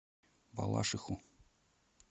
балашиху